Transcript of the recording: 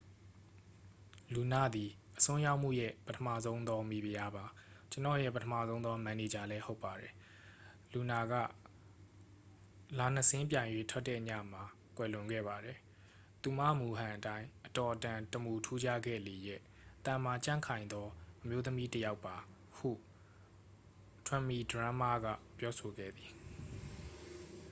"""လူန သည် အစွန်းရောက်မှုရဲ့ ပထမဆုံးသော မိဖုရားပါ။ ကျွန်တော့်ရဲ့ ပထမဆုံးသော မန်နေဂျာလည်း ဟုတ်ပါတယ်။lunaက လနှစ်စင်းပြိုင်၍ထွက်တဲ့ ညမှာ ကွယ်လွန်ခဲ့ပါတယ်။ သူမ မူဟန်အတိုင်း အတော်အတန်တမူထူးခြားခဲ့လေရဲ့။ သန်မာကြံ့ခိုင်သော အမျိုးသမီးတစ်ယောက်ပါ" ဟု တွန်မီဒရွန်းမား က ပြောဆိုခဲ့သည်။